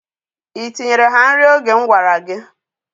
I tinyeere ha nri oge m gwara gị?